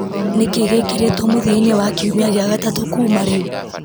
nĩ kĩĩ gĩkĩrĩtwo mũthia-inĩ wa kiumia gĩa gatatũ kũma rĩu